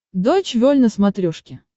дойч вель на смотрешке